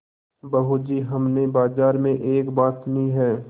बहू जी हमने बाजार में एक बात सुनी है